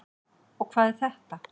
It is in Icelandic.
Og hvað er þetta?